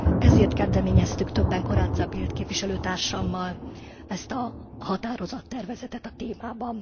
Ezért kezdeményeztük többen Corazza Bildt képviselőtársammal ezt a határozattervezetet a témában.